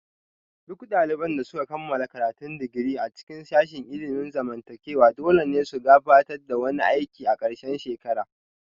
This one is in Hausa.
Duk daliban da suka kammala karatun digiri a cikin sashin ilimin zamantakewa dole ne su gabatar da wani aiki a ƙarshen shekara